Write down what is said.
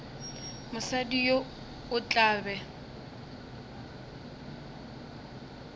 mosadi yo o tla be